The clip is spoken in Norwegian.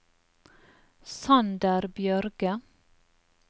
Sander Bjørge